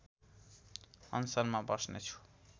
अनसनमा बस्नेछु